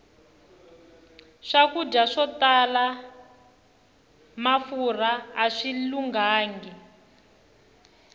swakudya swo tala mafurha aswi lunghangi